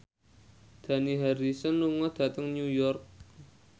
Dani Harrison lunga dhateng New York